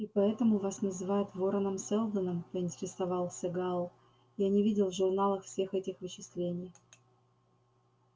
и поэтому вас называют вороном-сэлдоном поинтересовался гаал я не видел в журналах всех этих вычислений